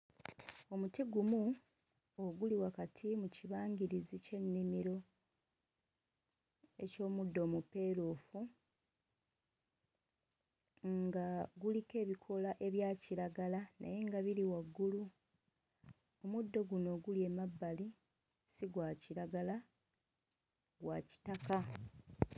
Omuti gumu oguli wakati mu kibangirizi ky'ennimiro eky'omuddo omupeeruufu, nga guliko ebikoola ebya kiragala naye nga biri waggulu. Omuddo guno oguli emabbali si gwa kiragala, gwa kitaka.